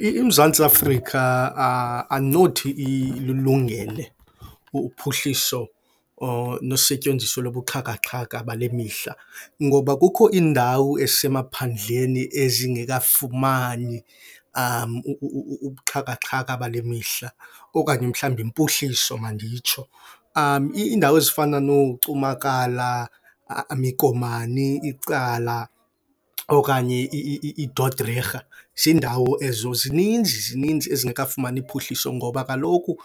IMzantsi Afrika andinothi ililungele uphuhliso or nosetyenziso lobuxhakaxhaka bale mihla, ngoba kukho iindawo ezisemaphandleni ezingekafumani ubuxhakaxhaka bale mihla, okanye mhlawumbi impuhliso manditsho. Iindawo ezifana nooCumakala, iKomani, iCala okanye iiDodrerha ziindawo ezo, zininzi, zininzi ezingekafumani phuhliso ngoba kaloku